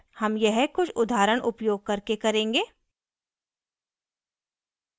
हम यह कुछ उदाहरण उपयोग करके करेंगे